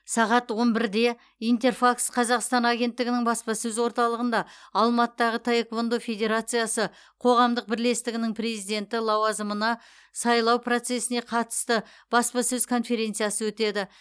сағат он бірде интерфакс қазақстан агенттігінің баспасөз орталығында алматыдағы таеквондо федерациясы қоғамдық бірлестігінің президенті лауазымына сайлау процесіне қатысты баспасөз конференциясы өтеді